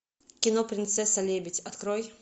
кино принцесса лебедь открой